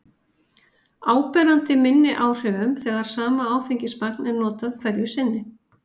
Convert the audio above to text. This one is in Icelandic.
áberandi minni áhrifum þegar sama áfengismagn er notað hverju sinni